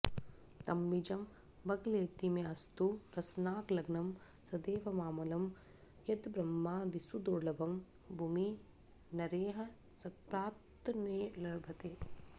तद्बीजं बगलेति मेऽस्तु रसनालग्नं सदैवामलं यद्ब्रह्मादिसूदुर्लभं भुवि नरैः सत्प्राक्तनैर्लभ्यते